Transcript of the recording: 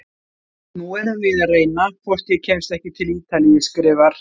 Nú erum við að reyna hvort ég kemst ekki til Ítalíu, skrifar